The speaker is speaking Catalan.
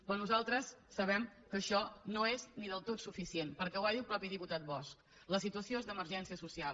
però nosaltres sabem que això no és del tot suficient perquè ho va dir el mateix diputat bosch la situació és d’emergència social